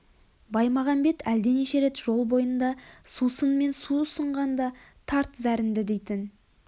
баймағамбет әлденеше рет жол бойында сусын мен су ұсынғанда тарт зәрінді дейтін